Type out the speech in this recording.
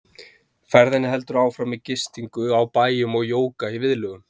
Ferðinni heldur áfram með gistingu á bæjum og jóga í viðlögum.